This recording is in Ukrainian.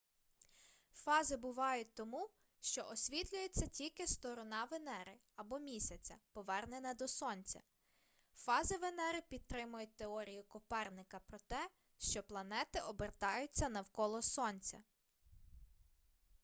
фази бувають тому що освітлюється тільки сторона венери або місяця повернена до сонця. фази венери підтримують теорію коперника про те що планети обертаються навколо сонця